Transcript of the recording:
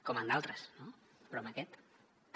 com en d’altres no però en aquest també